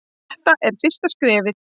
Þetta er fyrsta skrefið.